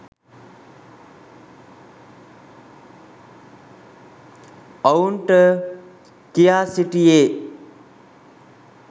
ඔවුන්ට කියා සිටියේ.